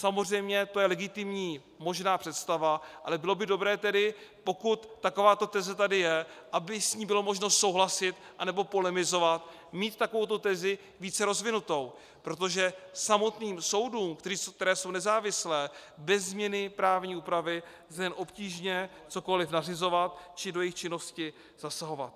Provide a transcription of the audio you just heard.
Samozřejmě to je legitimní možná představa, ale bylo by dobré tedy, pokud takováto teze tady je, aby s ní bylo možno souhlasit, anebo polemizovat, mít takovouto tezi více rozvinutou, protože samotným soudům, které jsou nezávislé, bez změny právní úpravy lze jen obtížně cokoliv nařizovat či do jejich činnosti zasahovat.